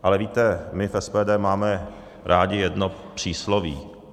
Ale víte, my v SPD máme rádi jedno přísloví.